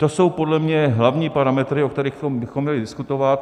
To jsou podle mě hlavní parametry, o kterých bychom měli diskutovat.